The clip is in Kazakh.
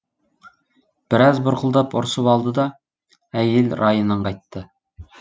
біраз бұрқылдап ұрсып алды да әйел райынан қайтты